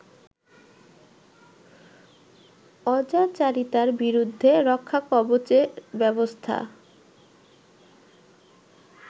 অজাচারিতার বিরুদ্ধে রক্ষাকবচের ব্যবস্থা